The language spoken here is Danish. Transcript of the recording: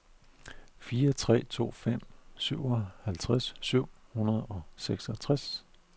fire tre to fem syvoghalvtreds syv hundrede og seksogtres